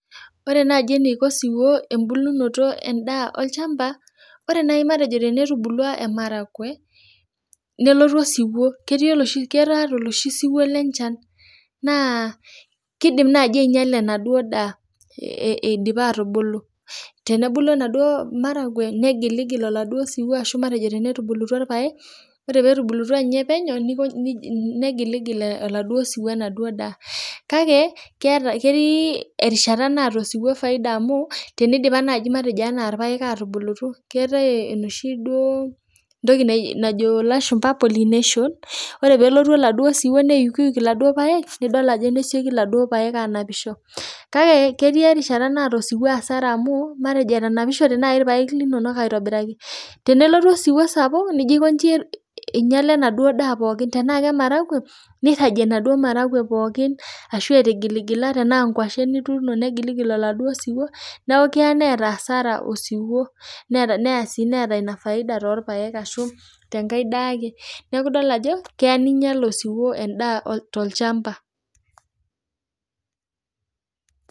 Ore naji eniko osiwuo embulunoto endaa olchamba ,ore naji matejo tenetubulua emaragwe nelotu osiwuo ketii oloshi siwuo lenchan naa kidim naji ainyiala enaduo daa idipa atubulu , tenebulu enaduo maragwe negiligil oladuo siwuo ashu tenetubulutuas irpaek ,ore petubulutua nye penyo , negiligil oladuo siwuo ,kake ketii erishata naata osiwuo faida amu tinidipa naji anaa irpaek atubulu keetae enoshi toki naji duo najo ilashumba pollination ore pelotu oladuo siwuo neyukyuknedol ajo nesioki iladuo paek anapisho, kake ketii erishata naata osiwuo asara amu matejo etanapishote naji irpaek aitobirari ,tenelotu osiwuo sapuk nijo aikonji inyiala enaduo daa pookin ,tenaa kemaragwe niragie inaduo maragwe pookin ashua nkwashen nituuno negilgil oladuo siwuo , neeku keya neeta asara osiwuo ,neya sii neeta inafaida toorpaek ashu tenkae daake , niaku idol ajo keya ninyial osiwuo olchamba.